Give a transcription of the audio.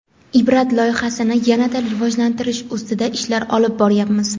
"Ibrat" loyihasini yana-da rivojlantirish ustida ishlar olib boryapmiz.